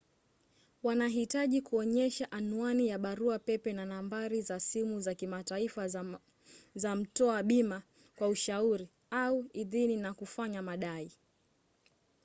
wanahitaji kuonyesha anwani ya barua pepe na nambari za simu za kimataifa za mtoa bima kwa ushauri/idhini na kufanya madai